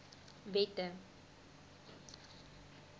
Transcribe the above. wette